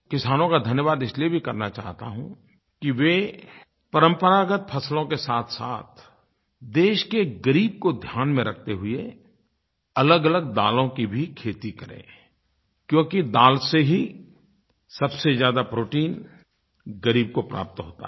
किसानों का धन्यवाद इसलिये भी करना चाहता हूँ कि वे परंपरागत फ़सलों के साथसाथ देश के ग़रीब को ध्यान में रखते हुए अलगअलग दालों की भी खेती करें क्योंकि दाल से ही सबसे ज़्यादा प्रोटीन ग़रीब को प्राप्त होता है